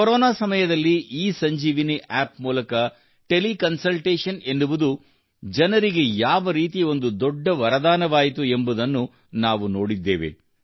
corona ಸಮಯದಲ್ಲಿ eSanjeevani app ಮೂಲಕ teleconsultation ಎನ್ನುವುದು ಜನರಿಗೆ ಯಾವರೀತಿ ಒಂದು ದೊಡ್ಡ ವರದಾನವಾಯಿತು ಎಂಬುದನ್ನು ನಾವು ನೋಡಿದ್ದೇವೆ